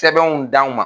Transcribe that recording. Sɛbɛnw d'an ma